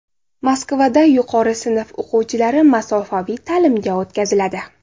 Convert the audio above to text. Moskvada yuqori sinf o‘quvchilari masofaviy ta’limga o‘tkaziladi.